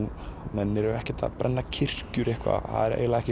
menn eru ekkert að brenna kirkjur